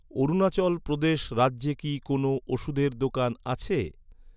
অরুণাচল প্রদেশ রাজ্যে কি কোনও ওষুধের দোকান আছে?